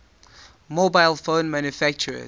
mobile phone manufacturers